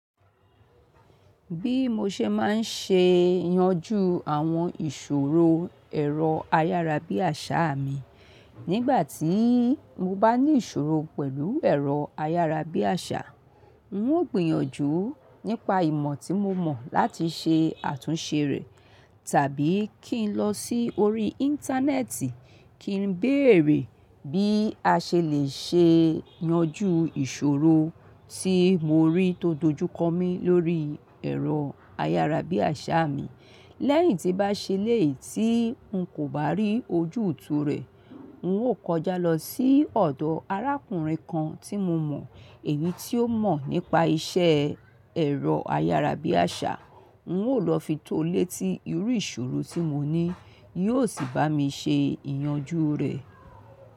Bí mo ṣe máa ń ṣe ìyanjú àwọn ìṣòro ẹ̀rọ ayárabíàṣá mi, nígbà tí mo bá ní ìṣòro pẹ̀lú ẹ̀rọ ayárabíàṣá, n ó gbìyànjú nípa ìmọ̀ tí mo mọ̀ láti ṣe àtúnṣe rẹ̀, tàbí kí n lọ sí orí Íńtánẹ́ẹ̀tì kí n béèrè bí a ṣe lè ṣe yanjú ìṣòro tí mo rí tó dojú kọ mí lórí ẹ̀rọ ayárabíàṣá mi. Lẹ́yìn tí bá ṣe léè tí n kò bá rí ojútùú rẹ̀, n ó kọjá lọ sí ọ̀dọ̀ arákùnrin kan tí mo mọ̀ èyí tí ó mọ̀ nípa iṣẹ́ ẹ̀rọ ayárabíàṣá, n ó lọ fi tó létí irú ìṣòro tí mo ní, yóò sì bá mi ṣe ìyanjú rẹ̀.